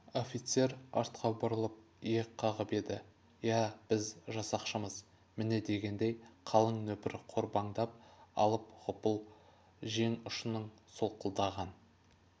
офицер артқа бұрылып иек қағып еді иә біз жасақшымыз міне дегендей қалың нөпір қорбаңдап апыл-ғұпыл жең ұшынан солқылдаған